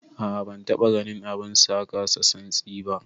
A'a ban taba ganin abun sa kasa santsi ba.